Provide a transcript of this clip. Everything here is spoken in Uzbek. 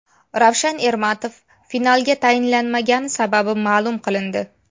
Ravshan Ermatov finalga tayinlanmagani sababi ma’lum qilindi.